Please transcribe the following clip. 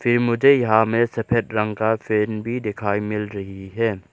मुझे यहां मे सफेद रंग का फैन भी दिखाई मिल रही है।